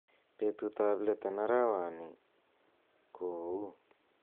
betut ab leet en arawani ko ou